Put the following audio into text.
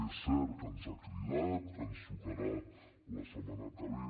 és cert que ens ha cridat que ens trucarà la setmana que ve